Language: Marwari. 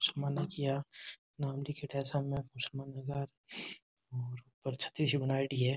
उस्मान नाम लिखेड़ा है सामने उस्मान लिख्या है और ऊपर छतरी सी बनाएडी है।